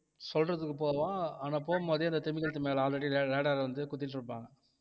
சொல்றதுக்கு போவான் ஆனா போகும்போதே அந்த திமிங்கலத்து மேல already radar வந்து குத்திட்டிருப்பாங்க